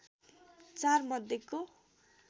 चार मध्येको